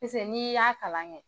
Pese n'i y'a kalan kɛ